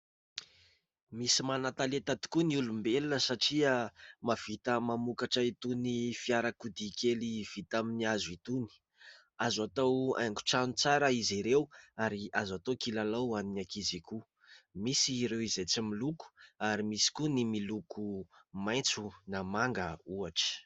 Misy manan-talenta tokoa ny olombelona satria mahavita mamokatra itony fiarakodia kely vita amin'ny hazo itony. Azo atao hanigo-trano tsara izy ireo ary azo atao kilalao ho an'ny ankizy koa, misy ireo izay tsy miloko ary misy koa ny miloko maitso na manga ohatra.